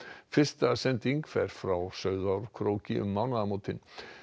fyrsta sending fer frá Sauðárkróki um mánaðamótin